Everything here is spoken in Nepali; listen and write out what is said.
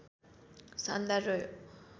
शानदार रह्यो